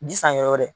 Ji san yɔrɔ wɛrɛ